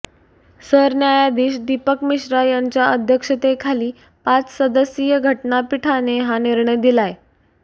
सरन्यायाधीश दीपक मिश्रा यांच्या अध्यक्षेतेखाली पाच सदस्यीय घटना पीठाने हा निर्णय दिलाय